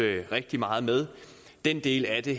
rigtig meget med den del af det